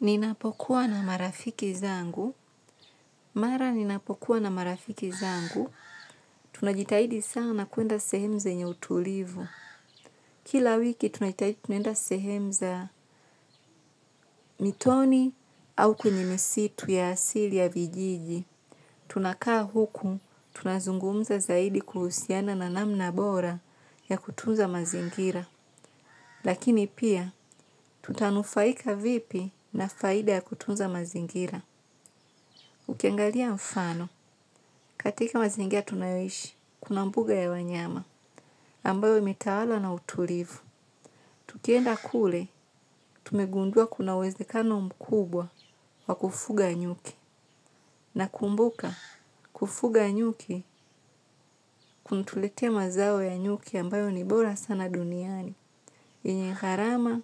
Ninapokuwa na marafiki zangu. Mara ninapokuwa na marafiki zangu. Tunajitahidi sana kuenda sehemu zenye utulivu. Kila wiki tunajitahidi tunenda sehemu za mitoni au kwenye misitu ya asili ya vijiji. Tunakaa huku tunazungumza zaidi kuhusiana na namna bora ya kutunza mazingira. Lakini pia tutanufaika vipi na faida ya kutunza mazingira. Ukiangalia mfano, katika mazingia tunayo ishi, kuna mbuga ya wanyama, ambayo imetawalwa na utulivu. Tukienda kule, tumegundua kuna uwezekano mkubwa wa kufuga nyuki, nakumbuka kufuga nyuki kunatuletea mazao ya nyuki ambayo ni bora sana duniani, yenye gharama,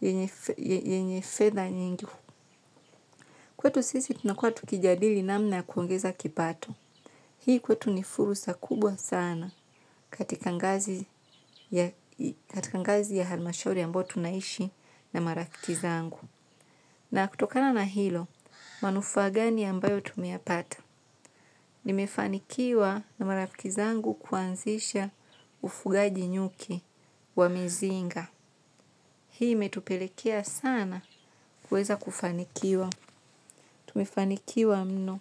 yenye fedha nyingi. Kwetu sisi tunakua tukijadili namna ya kuongeza kipato. Hii kwetu ni fursa kubwa sana katika ngazi ya halmashauri ambayo tunaishi na marafiki zangu. Na kutokana na hilo, manufaa gani ambayo tumeyapata. Nimefanikiwa na marafiki zangu kuanzisha ufugaji nyuki wa mizinga. Hii metupelekea sana kuweza kufanikiwa. Tumefanikiwa mno.